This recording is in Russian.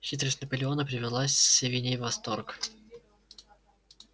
хитрость наполеона привела свиней в восторг